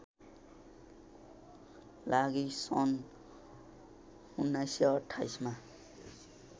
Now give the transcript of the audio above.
लागि सन् १९२८ मा